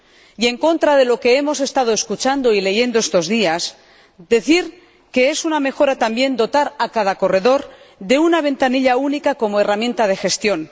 Y, en contra de lo que hemos estado escuchando y leyendo estos días, decir que es una mejora también dotar a cada corredor de una ventanilla única como herramienta de gestión.